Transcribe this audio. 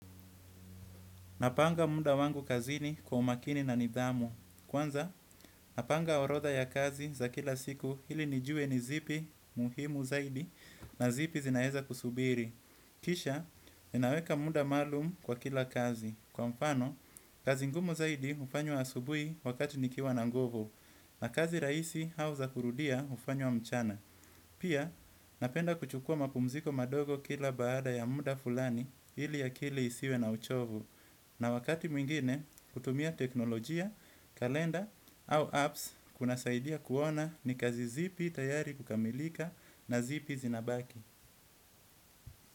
Napanga muda wangu kazini kwa umakini na nidhamu. Kwanza, napanga orodha ya kazi za kila siku ili nijue nizipi muhimu zaidi na zipi zinaweza kusubiri. Kisha, ninaweka muda maalum kwa kila kazi. Kwa mfano, kazi ngumu zaidi hufanywa asubuhi wakati nikiwa na nguvu. Na kazi rahisi au za kurudia hufanywa mchana. Pia, napenda kuchukua mapumziko madogo kila baada ya muda fulani ili akili isiwe na uchovu. Na wakati mwingine kutumia teknolojia, kalenda au apps kuna saidia kuona ni kazi zipi tayari kukamilika na zipi zinabaki.